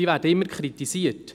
Diese werden immer kritisiert.